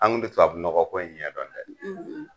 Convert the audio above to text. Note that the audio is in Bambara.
An kun ti tubabunɔgɔ ko in ɲɛ dɔn dɛ!